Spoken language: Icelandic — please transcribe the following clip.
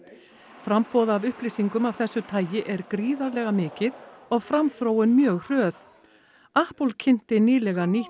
framboð af upplýsingum af þessu tagi er gríðarlega mikið og framþróun mjög hröð kynnti nýlega nýtt